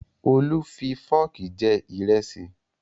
Olú fi fọ́ọ̀kì jẹ ìrẹsì